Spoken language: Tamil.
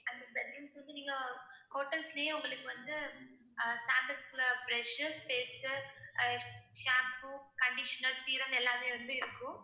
அந்த bed rooms வந்து நீங்க hotels லேயே உங்களுக்கு வந்து ஆஹ் brush உ paste உ ஆஹ் shampoo, conditioner, serum எல்லாமே வந்து இருக்கும்